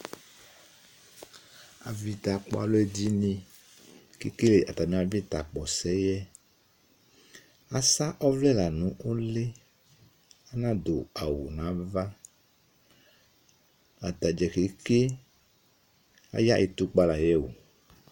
Avɩta kpɔ alʋ ɛdɩnɩ, kekele atamɩ avɩta kpɔ sɛ yɛ; asa ɔvlɛ la nʋ ʋlɩ,anadʋ awʋ nava, atadza keke aya ɩtʋkpa la yɛ oo